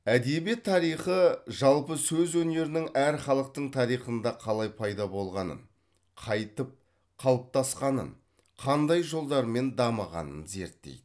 әдебиет тарихы жалпы сөз өнерінің әр халықтың тарихында қалай пайда болғанын қайтып қалыптасқанын қандай жолдармен дамығанын зерттейді